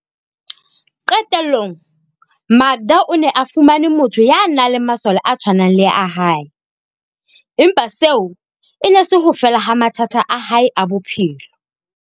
Qetellong, Makda o ne a fumane motho ya nang le masole a tshwanang le a hae, empa seo e ne e se ho fela ha mathata a hae a bophelo.